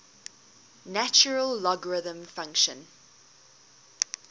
natural logarithm function